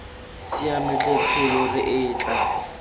siame tlhe tsholo re etla